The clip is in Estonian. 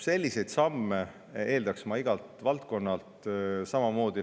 Selliseid samme eeldaks ma igalt valdkonnalt samamoodi.